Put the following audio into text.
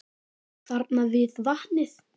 Þarna við vatnið.